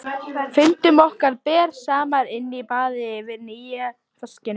Fundum okkar ber saman inni á baði yfir nýja vaskinum.